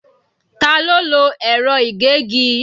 Ta ló lo ẹ̀rọ ìgégi?